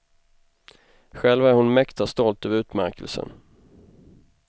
Själv är hon mäkta stolt över utmärkelsen.